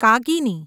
કાગીની